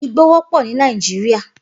Igbó wòpò ni Nàijiriá